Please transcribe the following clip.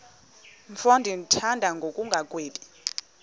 mfo ndimthanda ngokungagwebi